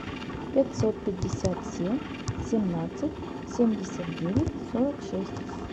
пятьсот пятьдесят семь семнадцать семьдесят девять сорок шесть